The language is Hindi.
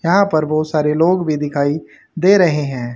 यहां पर बहुत सारे लोग भी दिखाई दे रहे हैं।